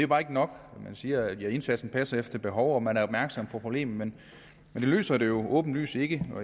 bare ikke nok man siger at indsatsen passer til behovet og at man er opmærksom på problemet men det løser det jo åbenlyst ikke